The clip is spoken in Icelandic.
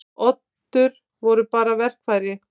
Oddur voru bara verkfæri.